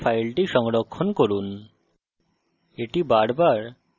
এখন উপরের save icon টিপে file সংরক্ষণ করুন